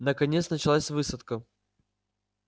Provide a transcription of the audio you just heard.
наконец началась высадка